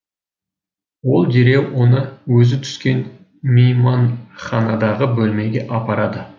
ол дереу оны өзі түскен мейманханадағы бөлмеге апарады